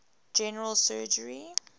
general surgery